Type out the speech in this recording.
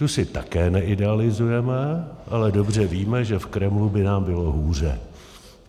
Tu si také neidealizujeme, ale dobře víme, že v Kremlu by nám bylo hůře.